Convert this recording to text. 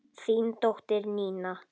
Þín dóttir, Nína.